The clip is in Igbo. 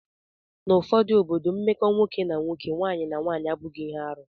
N'ụfọdụ obodo, mmekọ nwoke na nwoke, nwaanyị na nwaanyị abụghị arụ